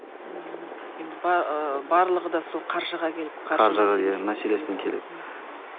ммм енді ыыы барлығы да сол қаржыға келіп мәселесіне келеді